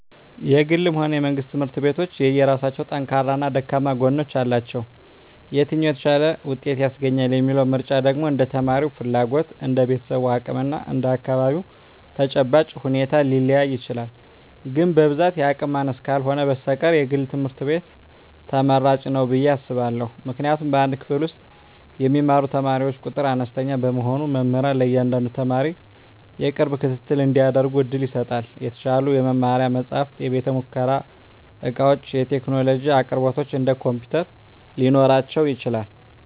የግልም ሆነ የመንግሥት ትምህርት ቤቶች የየራሳቸው ጠንካራና ደካማ ጎኖች አሏቸው። የትኛው "የተሻለ ውጤት" ያስገኛል የሚለው ምርጫ ደግሞ እንደ ተማሪው ፍላጎት፣ እንደ ቤተሰቡ አቅም እና እንደ አካባቢው ተጨባጭ ሁኔታ ሊለያይ ይችላል። ግን በብዛት የአቅም ማነስ ካልህነ በስተቀር የግል ትምህርት ቤት ትመራጭ ንው ብየ አስባእሁ። ምክንያቱም በአንድ ክፍል ውስጥ የሚማሩ ተማሪዎች ቁጥር አነስተኛ በመሆኑ መምህራን ለእያንዳንዱ ተማሪ የቅርብ ክትትል እንዲያደርጉ ዕድል ይሰጣል። የተሻሉ የመማሪያ መጻሕፍት፣ የቤተ-ሙከራ ዕቃዎችና የቴክኖሎጂ አቅርቦቶች (እንደ ኮምፒውተር) ሊኖራቸው ይችላል።